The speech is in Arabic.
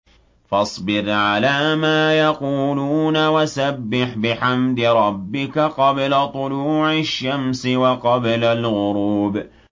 فَاصْبِرْ عَلَىٰ مَا يَقُولُونَ وَسَبِّحْ بِحَمْدِ رَبِّكَ قَبْلَ طُلُوعِ الشَّمْسِ وَقَبْلَ الْغُرُوبِ